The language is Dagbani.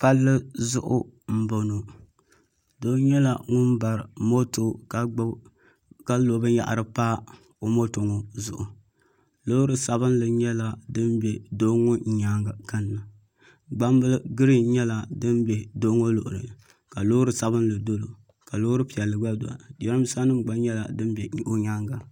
Palli zuɣu n boŋo doo nyɛla ŋun bari moto ka lo binyahari pa o moto ŋo zuɣu loori sabinli nyɛla din bɛ doo ŋo nyaanga kanna gbambili giriin nyɛla din bɛ doo ŋo luɣulini ka loori sabinli dolo ka loori piɛlli gba dola jiranbiisa nima nyɛla din bɛ o nyaanga